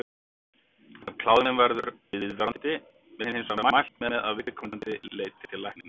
Ef kláðinn verður viðvarandi er hins vegar mælt með að viðkomandi leiti læknis.